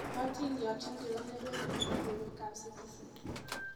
Adindiot ingiro nelel eng logoiwekab Citizen